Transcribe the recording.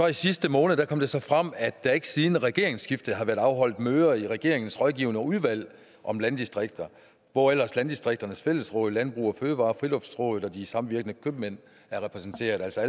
i sidste måned kom det så frem at der ikke siden regeringsskiftet har været afholdt møder i regeringens rådgivende udvalg om landdistrikter hvor landdistrikternes fællesråd landbrug og fødevarer friluftsrådet og de samvirkende købmænd er repræsenteret altså